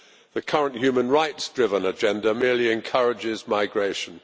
The current human rights driven agenda merely encourages migration.